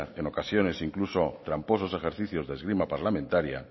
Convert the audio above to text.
en ocasiones incluso tramposos ejercicios de esgrima parlamentaria